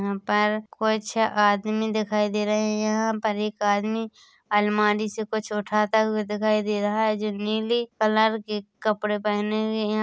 यहाँ पर कुछ आदमी दिखाई दे रहे हैं यहाँ पर एक आदमी अलमारी से कुछ उठता हुआ दिखाई दे रहा है जो नीली कलर की कपड़े पहने हुए हैं।